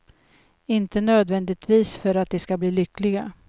Inte nödvändigtvis för att de ska bli lyckliga.